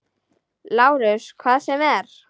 LÁRUS: Hvað sem er.